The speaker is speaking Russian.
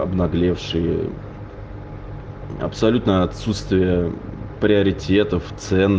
обнаглевшие абсолютное отсутствие приоритетов цен